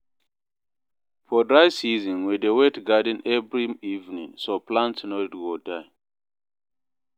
For dry season, we dey wet garden every evening so plants no go die.